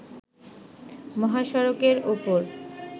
মহাসড়কের ওপর